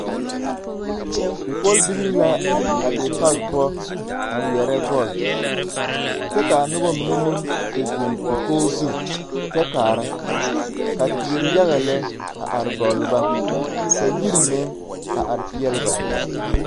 Bipɔlbilii la a be pag poɔ a ŋmeɛrɛ bɔl. kyɛ kaa noba mine meŋ te zeŋ dakog zu kyɛ kaara. Ka teere yaga lɛ a are gɔlle ba. Ka yiri meŋ a are peɛle ba.